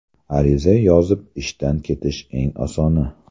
Ariza yozib ishdan ketish eng osoni.